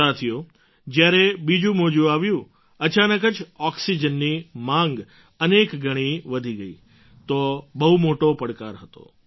સાથીઓ જ્યારે બીજું મોજું આવ્યું અચાનક જ ઑક્સિજનની માગ અનેક ગણી વધી ગઈ તો બહુ મોટો પડકાર હતો